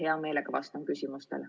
Hea meelega vastan küsimustele.